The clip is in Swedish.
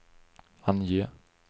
ange